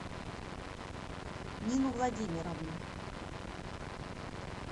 нину владимировну